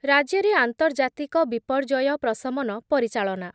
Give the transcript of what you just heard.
ରାଜ୍ୟରେ ଆନ୍ତର୍ଜାତିକ ବିପର୍ଯ୍ୟୟ ପ୍ରସମନ ପରିଚାଳନା